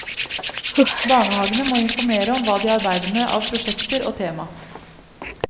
Barnehagene må informere om hva de arbeider med av prosjekter og tema.